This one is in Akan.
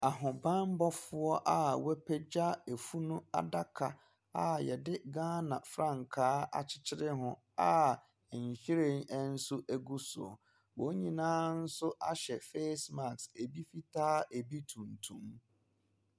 Ahobammɔfoɔ a wɔapagya funu adaka a wɔde gyana frankaa akyekyere ho a nhwiren nso gu so. Wɔn nyinaa nso ahyɛ face mask, ebi fataa, ebi tuntum.